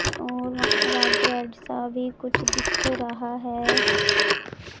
और वां red red सा भी कुछ दिख रहा है।